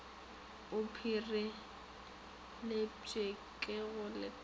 a pireletpwe ka go lekana